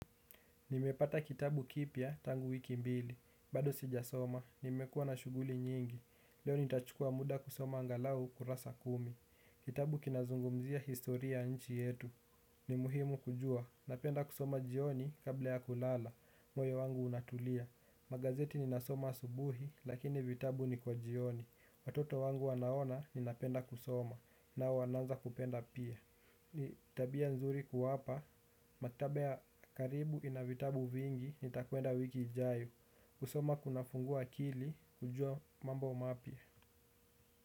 Nimepata kitabu kipya tangu wiki mbili, bado sijasoma, nimekuwa na shughuli nyingi, leo nitachukua muda kusoma angalau kurasa kumi. Kitabu kinazungumzia historia ya nchi yetu, ni muhimu kujua, napenda kusoma jioni kabla ya kulala, moyo wangu unatulia. Magazeti ninasoma asubuhi, lakini vitabu ni kwa jioni, watoto wangu wanaona ninapenda kusoma, nao wanaanza kupenda pia. Ni tabia nzuri kuwapa. Maktaba ya karibu ina vitabu vingi. Nitakwenda wiki ijayo kusoma kunafungua akili. Kujua mambo mapya.